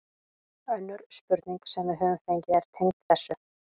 Önnur spurning sem við höfum fengið er tengd þessu: